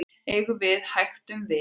eigum við hægt um vik